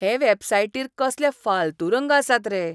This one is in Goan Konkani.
हे वॅबसायटीर कसले फाल्तू रंग आसात रे.